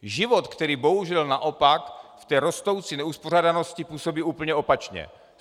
Život, který bohužel naopak v té rostoucí neuspořádanosti působí úplně opačně.